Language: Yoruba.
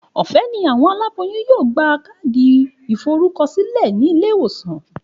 Òfé ni àwon aláboyún yóò gba káàdì ìforúko sílè nílé ìwòsàn